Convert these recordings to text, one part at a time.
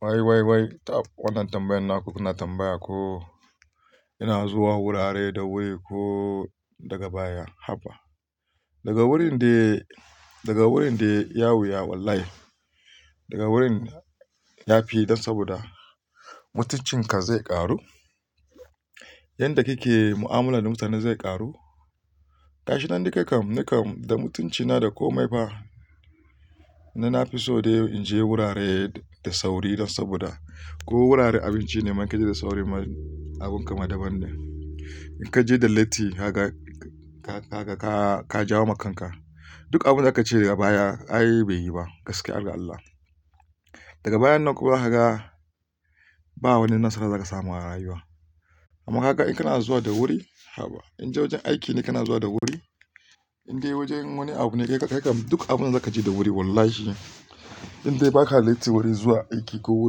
Wai, wai, wai tab wannan tambayan naku kuna tambaya ko ina zuwa wurare da wuri ko daga baya, haba. Daga wurin de, daga wurin de iya wuya wallahi. Daga wurin ya fi dan saboda mutuncinka zai ƙaru. Yanda kike mu'amular mutane zai ƙaru. Gashi nan nikam, nikam da mutuncina da komai fa. Ni na fi so dai in je wurare da sauri dan saboda ko wurare abinci ne man ka je da sauri abun ka madaban ne. In ka je da latti haka, ka, ka, ka, ka jawo ma kanka. Duk abunda aka ce yai baya, ai bai yi ba. Gaskiya, harga Allah. Daga bayan nan kuma zakaga ba wani nasara daza ka samu a rayuwa. Amma kaga in kana zuwa da wuri, haba. In dai wajen aiki ne kana zuwa da wuri, in dai wajen wani abu ne kai kam duk abunda za ka je da wuri wallahi. In dai ba ka latti wuri zuwa aiki ko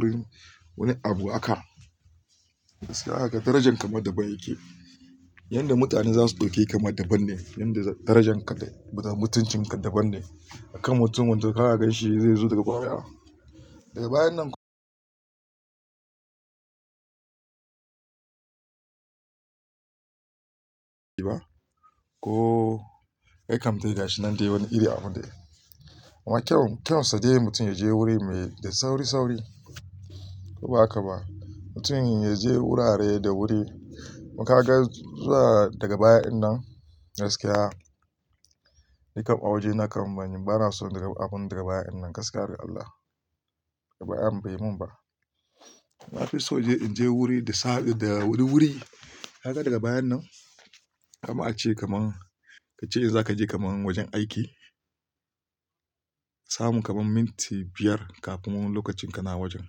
wurin wani abu aka, gaskiya zakagaaka darajarka ma daban yake. Yanda mutane za su ɗauke ka ma daban ne. Yanda darajarka da mutuncin ka daban ne. Akan mutum wanda ka gan shi zai zo daga baya. Daga bayan nan ba ko kai kam dai gashi nan dai wani iri abu dai. Amma kyau, kyan sadai mutum ya je wuri mai da sauri, sauri. Ko ba haka ba. Mutum ya je wurare da wuri. Amma ka ga zuwa daga baya'n nan gaskiya, nikam a waje na kam bano so abun daga baya'n nan gaskiya alkasallah. Daga bayan bai mun ba. Na fi so je in je wuri da sa, da wuri wuri. Kaga daga bayan nan, amma ace kaman a ce in za ka je kaman wajen aiki, samu kamon minti biyar kafin lokacin ka na wajen.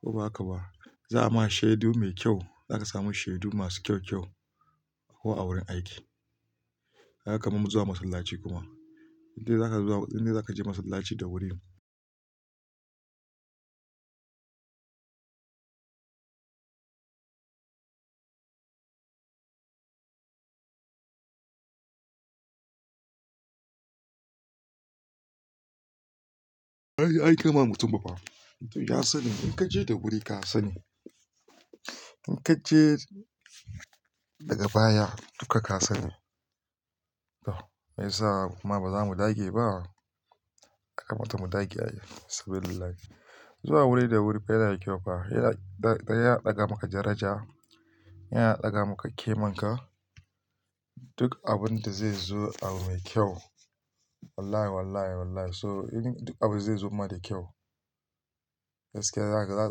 Ko ba haka ba. Za a ma shaidu mai kyau, za ka samu shaidu masu kyau, kyau ko a wurin aiki. Kags kaman mu zuwa masallaci kuma. In dai za ka zuwa, in dai za ka je masallaci da wuri. Ai, am kama mutum ba fa. Mutum ya sani in ka je da wuri ka sani. In ka je daga baya duka ka sani. Meyai yasa muma ba za mu dage ba. Ka mata mu dage ai yau saboda Allah. Zuwa wuri da wuri fa yana da kyau fa. Yana, yana ɗaga maka daraja. Yana ɗaga maka kimar ka. Duk abun da zai zo abu mai kyau. Wallahi, wallahi, wallahi so in duk abu zai zo maka da kyau. Gaskiya za ka,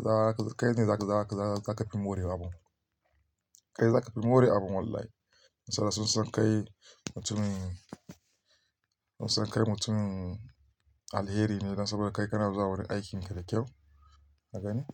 za ka, kai ne za ka, za ka, za ka fi more abun. Kai za ka fi more abun wallahi. Saboda sun san kai mutum, sun san kai mutum alheri ne dan saboda kai kana zuwa wurin aikin ka da kyau. Haka ne?